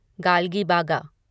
गल्गीबागा